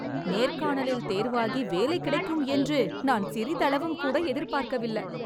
நேர்காணலில் தேர்வாகி வேலை கிடைக்கும் என்று நான் சிறிதளவும் கூட எதிர்பார்க்கவில்ல